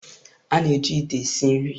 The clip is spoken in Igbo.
A na-eji ite esi nri.